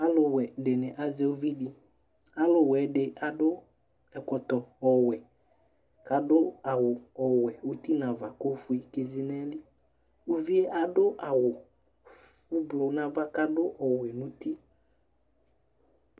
Ɔluwɛ ɖɩŋɩ azɛ ʊʋɩɖɩ Alʊwɛɖi aɖʊ ɛƙɔtɔ ɔwɛ, ƙaɖʊ awʊ ɔwɛ ʊtɩ ŋava ƙʊ oƒoé ƙézé ŋaƴɩli Ʊʋɩ aɖʊ awʊ ʊɓlʊ ŋava ƙaɖʊ ɔwɛ ŋʊtɩ